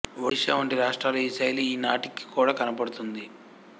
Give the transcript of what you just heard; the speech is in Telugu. ఒడిషా వంటి రాష్ట్రాలలో ఈ శైలి ఈ నాటికి కూడ కనబడుతుంది